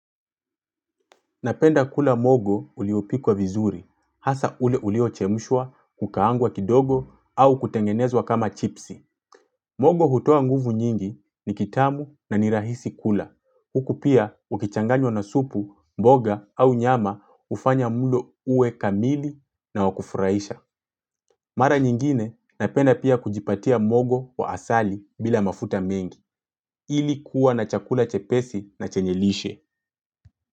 Napenda kula mogo uliopikwa vizuri, hasa ule uliochemshwa kukaangwa kidogo au kutengenezwa kama chipsi. Mogo hutua nguvu nyingi ni kitamu na nirahisi kula. Huku pia ukichanganywa na supu, mboga au nyama ufanya mulo uwe kamili na wakufuraisha. Mara nyingine napenda pia kujipatia mogo wa asali bila mafuta mengi. Ili kuwa na chakula chepesi na chenyelishe.